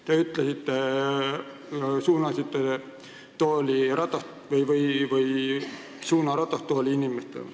Te võtsite suuna ratastooliinimestele.